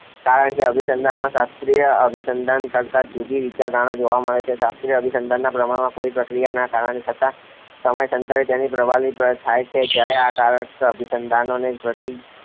કારકે અભિસંધાનમાં શાસ્ત્રીય અભિસંધાન કરતાં જુદી વિચારધારણા જોવા મળે છે. શાસ્ત્રીય અભિસંધાનમાં પ્રમાણમાં કોઈ પ્રતિક્રિયા ના કારણે થતા સમયાંતરે તેને પ્રબલન પ્રાપ્ત થયા છે જયારે આ કારક અભિસંધાનમાંને પ્રતિ